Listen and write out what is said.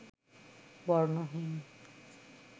বর্ণহীন